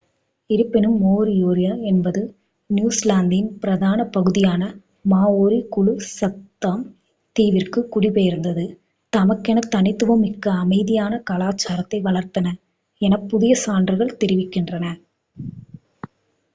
இருப்பினும் மோரியோரி என்பது நியூஜிலாந்தின் பிரதான பகுதியான மாஓரி குழு சத்தாம் தீவிற்கு குடிபெயர்ந்து தமக்கென தனித்துவமிக்க அமைதியான கலாசாரத்தை வளர்த்தனர் என புதிய சான்றுகள் தெரிவிக்கின்றன